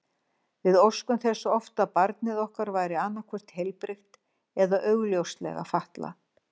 Við óskuðum þess oft að barnið okkar væri annað hvort heilbrigt eða augljóslega fatlað.